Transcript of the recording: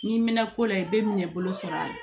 N'i mɛn ko la i bɛ minɛ bolo sɔrɔ a la